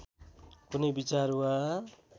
कुनै विचार वा